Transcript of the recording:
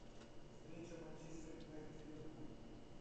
встреча манчестер юнайтед ливерпуль